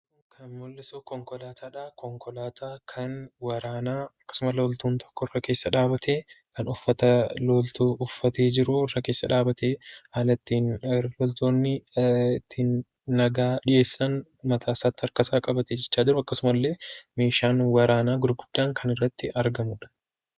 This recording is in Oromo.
Kan mul'isuu konkolaataadha. Konkolaataa kan waraanaa akkasuma loltuun tokko irra keessa dhaabatee, kan uffata loltuu uffatee jiruu irra keessa dhaabatee haala ittiin loltoonni itti nagaa dhiheessan mataasaatti, harkasaa qabatee jiruu akkasuma illee meeshaan waraanaa gurguddaan kan irratti argamudha.